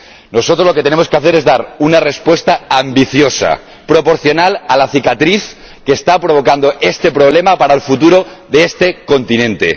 Nosotros lo que tenemos que hacer es dar una respuesta ambiciosa, proporcional a la cicatriz que está provocando este problema para el futuro de este continente.